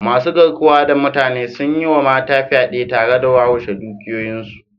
masu garkuwa da mutane sun yi wa mata fyade tare da wawashe dukiyoyinsu